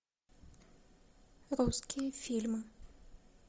русские фильмы